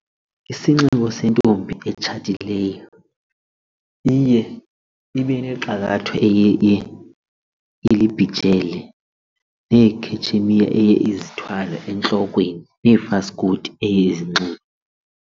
Isinxibo sentombi etshatileyo iye ibe nexakayo eye ilibhijele neekhetshemiya eye izithwale entlokweni neefaskoti eye izinxibe.